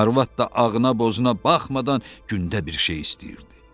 Arvad da ağına-bozuna baxmadan gündə bir şey istəyirdi.